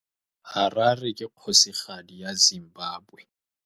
Harare ke kgosigadi ya Zimbabwe.